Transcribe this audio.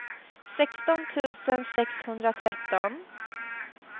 sexton tusen sexhundratretton